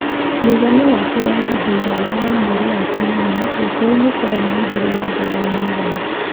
Mũigana wacio wa ihinda iraya wa mweri wa kanana , gĩcũa-inĩ kwarĩ na mbura ya thĩ wa mũigana